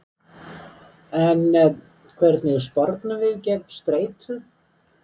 En hvernig spornum við gegn streitu?